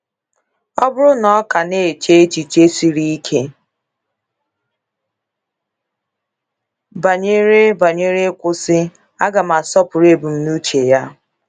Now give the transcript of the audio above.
Ọ bụrụ na ọ ka na - eche echiche siri ike banyere banyere ịkwụsị, aga m asọpụrụ ebumnuche ya.